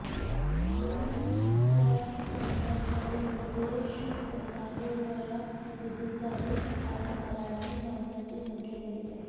गणिताचा अभ्यास करून परदेश गाजवणाऱ्या हिंदुस्थानी आणि मराठी माणसांची संख्या बरीच आहे